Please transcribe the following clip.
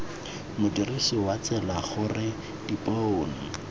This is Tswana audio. modirisi wa tsela gore dipone